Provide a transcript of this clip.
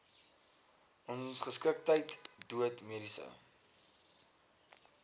ongeskiktheid dood mediese